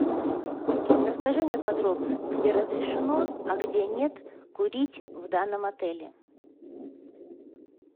расскажи мне подробно где разрешено а где нет курить в данном отеле